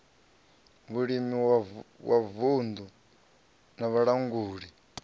vhulimi wa vunddu na vhalanguli